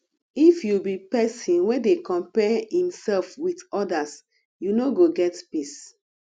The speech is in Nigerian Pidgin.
if you be pesin wey dey compare imself with odas you no go get peace